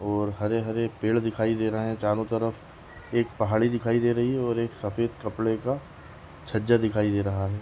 और हरे-हरे पेड़ दिखाई दे रहे है चारो तरफ एक पहाड़ी दिखाई दे रही है और एक सफ़ेद कपडे का छज्जा दिखाई दे रहा है।